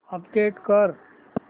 update कर